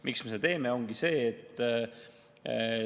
Miks me seda teeme?